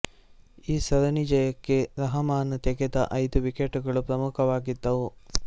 ಆ ಸರಣಿ ಜಯಕ್ಕೆ ರಹಮಾನ್ ತೆಗೆದ ಐದು ವಿಕೆಟುಗಳು ಪ್ರಮುಖವಾಗಿದ್ದವು